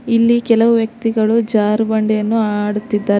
ಇಲ್ಲಿ ಕೆಲವು ವ್ಯಕ್ತಿಗಳು ಜಾರುಬಂಡಿಯನ್ನು ಆಡುತ್ತಿದ್ದಾರೆ.